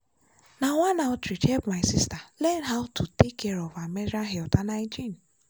na one outreach help my sister learn how to take care of her menstrual health and hygiene.